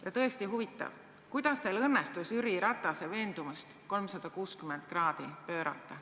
Ja tõesti huvitav, kuidas teil õnnestus Jüri Ratase veendumust 360 kraadi pöörata.